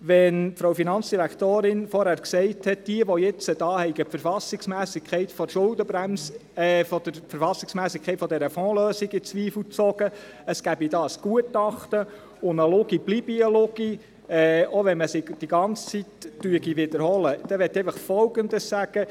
Wenn die Finanzdirektorin vorhin gesagt hat, diejenigen, welche die Verfassungsmässigkeit dieser Fondslösung in Zweifel gezogen hätten, es gebe dazu ein Gutachten und eine Lüge bleibe eine Lüge, auch wenn man es andauernd wiederhole, dann möchte ich einfach Folgendes sagen: